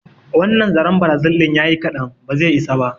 Wannan zaren Brazil din ya yi ƙadan, ba zai isa ba.